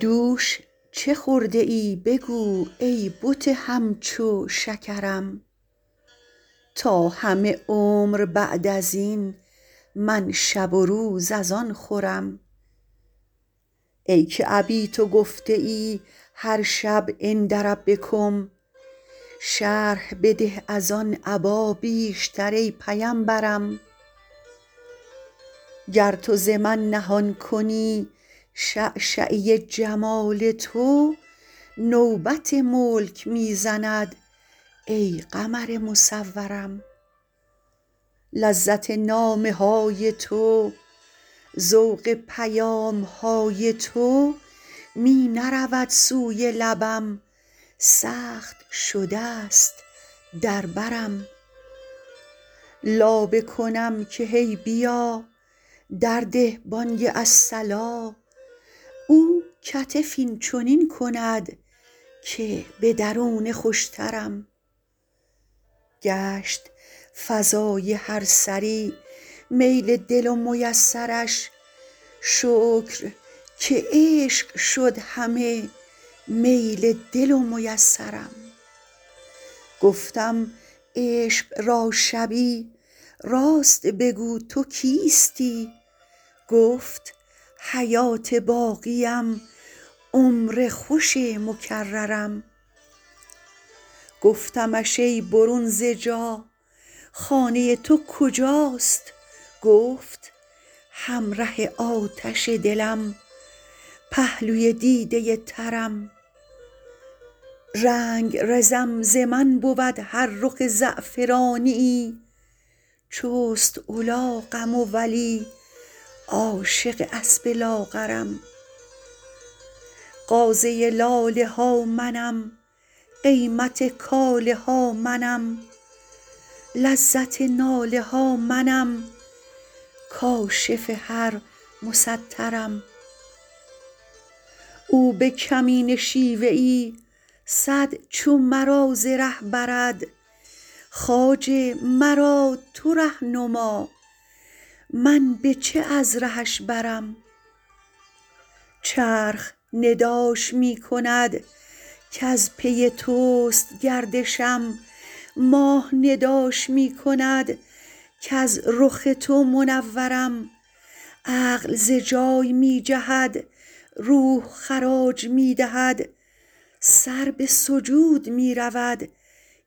دوش چه خورده ای بگو ای بت همچو شکرم تا همه عمر بعد از این من شب و روز از آن خورم ای که ابیت گفته ای هر شب عند ربکم شرح بده از آن ابا بیشتر ای پیمبرم گر تو ز من نهان کنی شعشعه جمال تو نوبت ملک می زند ای قمر مصورم لذت نامه های تو ذوق پیام های تو می نرود سوی لبم سخت شده ست در برم لابه کنم که هی بیا درده بانگ الصلا او کتف این چنین کند که به درونه خوشترم گشت فضای هر سری میل دل و میسرش شکر که عشق شد همه میل دل و میسرم گفتم عشق را شبی راست بگو تو کیستی گفت حیات باقیم عمر خوش مکررم گفتمش ای برون ز جا خانه تو کجاست گفت همره آتش دلم پهلوی دیده ترم رنگرزم ز من بود هر رخ زعفرانیی چست الاقم و ولی عاشق اسب لاغرم غازه لاله ها منم قیمت کاله ها منم لذت ناله ها منم کاشف هر مسترم او به کمینه شیوه ای صد چو مرا ز ره برد خواجه مرا تو ره نما من به چه از رهش برم چرخ نداش می کند کز پی توست گردشم ماه نداش می کند کز رخ تو منورم عقل ز جای می جهد روح خراج می دهد سر به سجود می رود